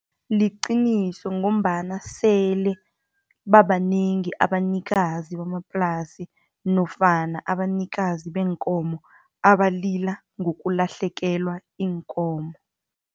Liqiniso, ngombana sele babanengi abanikazi bamaplasi, nofana abanikazi beenkomo abalila ngokulahlekelwa iinkomo